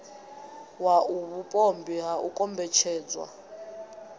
wau vhupombwe ha u kombetshedzwa